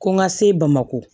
Ko n ka se bamako